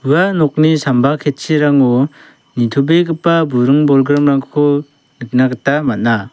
ua nokni samba ketchirango nitobegipa buring bolgrimrangko nikna gita man·a.